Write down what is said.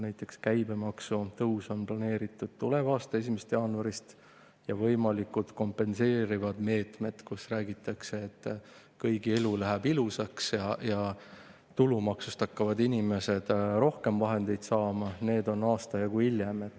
Näiteks käibemaksu tõus on planeeritud tuleva aasta 1. jaanuarist ja võimalikud kompenseerivad meetmed, mille kohta räägitakse, et kõigi elu läheb ilusaks ja tulumaksust hakkavad inimesed rohkem vahendeid saama, need on aasta jagu hiljem.